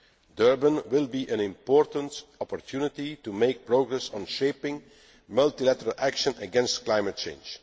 Durban will be an important opportunity to make progress on shaping multilateral action to combat climate change.